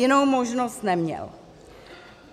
Jinou možnost neměl.